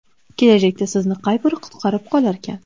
Kelajakda sizni qay biri qutqarib qolarkan?